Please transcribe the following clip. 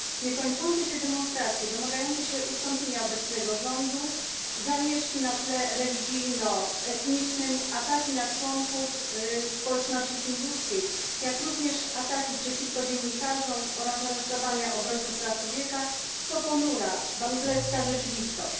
Niekończące się demonstracje domagające się ustąpienia obecnego rządu, zamieszki na tle religijno etnicznym, ataki na członków społeczności hinduskiej, jak również ataki przeciwko dziennikarzom oraz aresztowania obrońców praw człowieka to ponura bangladeska rzeczywistość.